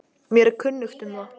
Mér er kunnugt um það.